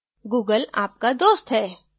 google आपका दोस्त है